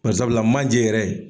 barisabula manje yɛrɛ.